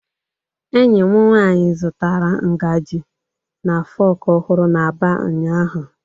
Enyi m nwanyi zụtaram ngaji and fokù ohuru n’Aba ụnyahụ.